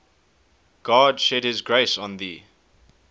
god shed his grace on thee